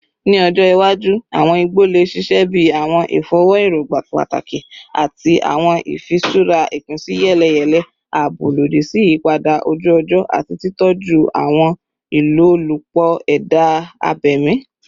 Ni ọjọ iwaju, awọn igbo le ṣiṣẹ bi awọn ifọwọ erogba pataki ati awọn ifiṣura ipinsiyeleyele, aabo lodi si iyipada oju-ọjọ ati titọju awọn ilolupo eda abemi.